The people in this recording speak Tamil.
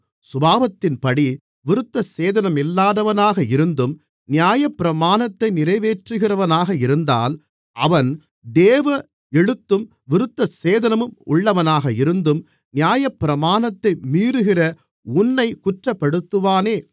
சுபாவத்தின்படி விருத்தசேதனமில்லாதவனாக இருந்தும் நியாயப்பிரமாணத்தை நிறைவேற்றுகிறவனாக இருந்தால் அவன் வேத எழுத்தும் விருத்தசேதனமும் உள்ளவனாக இருந்தும் நியாயப்பிரமாணத்தை மீறுகிற உன்னைக் குற்றப்படுத்துவானே